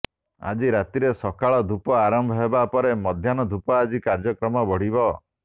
ଆଜି ରାତିରେ ସକାଳ ଧୂପ ଆରମ୍ଭ ହେବା ପରେ ମଧ୍ୟାହ୍ନ ଧୂପ ଆଜି କାର୍ଯ୍ୟକ୍ରମ ବଢିବ